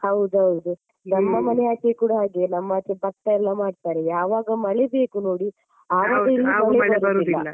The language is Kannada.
ಹೌದೌದು. ನಮ್ಮ ಮನೆ ಆಚೆ ಕೂಡ ಹಾಗೆ ನಮ್ಮಾಚೆ ಭತ್ತ ಎಲ್ಲ ಮಾಡ್ತಾರೆ ಯಾವಾಗ ಮಳೆ ಬೇಕು ನೋಡಿ ಆವಾಗ ಇಲ್ಲ.